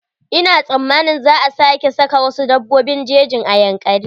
Ina sammanin za a sake saka wasu dabbobin jejin a Yankari.